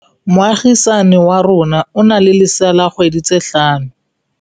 Moagisane wa rona o na le lesea la dikgwedi tse tlhano.